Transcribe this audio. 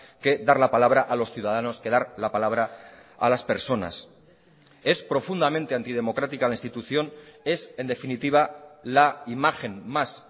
que dar la palabra a los ciudadanos que dar la palabra a las personas es profundamente antidemocrática la institución es en definitiva la imagen más